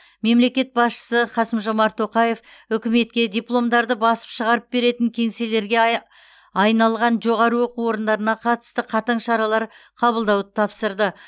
мемлекет басшысы қасым жомарт тоқаев үкіметке дипломдарды басып шығарып беретін кеңселерге ай айналған жоғары оқу орындарына қатысты қатаң шаралар қабылдауды тапсырды